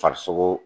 Farisoko